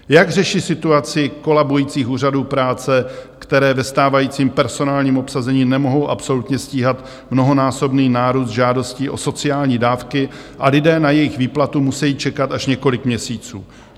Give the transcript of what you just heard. Jak řeší situaci kolabujících úřadů práce, které ve stávajícím personálním obsazení nemohou absolutně stíhat mnohonásobný nárůst žádostí o sociální dávky a lidé na jejich výplatu musejí čekat až několik měsíců?